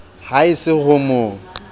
ha e se ho mo